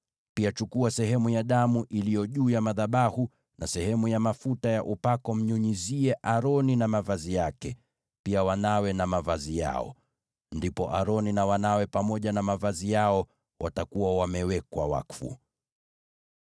Pia chukua sehemu ya damu iliyo juu ya madhabahu na sehemu ya mafuta ya upako, umnyunyizie Aroni na mavazi yake, pia wanawe na mavazi yao. Ndipo Aroni na wanawe pamoja na mavazi yao watakuwa wamewekwa wakfu.